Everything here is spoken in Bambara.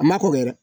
A ma kɔkɔ dɛ